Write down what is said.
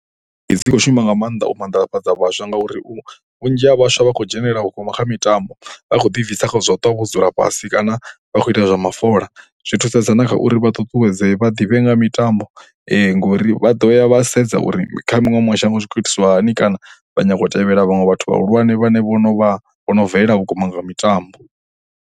Dzi khou shuma nga maanḓa u maanḓafhadza vhaswa ngauri vhunzhi ha vhaswa vha khou dzhenelela vhukuma kha mitambo. Vha khou ḓibvisa kha zwa u ṱa vho dzula fhasi kana vha khou ita zwa mafola. Zwi thusedza na kha uri vha ṱuṱuwedzee, vha ḓivhe nga ha mitambo. Ngori vha ḓo ya vha sedza uri kha maṅwe mashango zwi khou itiswa hani kana vha nyaga u tevhela vhaṅwe vhathu vhahulwane vhane vho no vha, vho no bvelela kule nga mitambo.